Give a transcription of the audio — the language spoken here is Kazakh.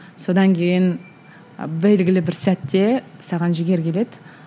содан кейін белгілі бір сәтте саған жігер келеді